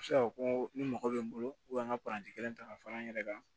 A bɛ se ka fɔ ko ni mɔgɔ bɛ n bolo an ka kelen ta ka fara n yɛrɛ kan